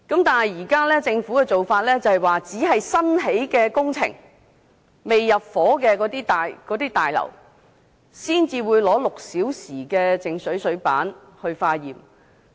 但是，政府現時的做法，只會對新建工程或未入伙的大廈，抽取靜止6個小時的水樣本化驗。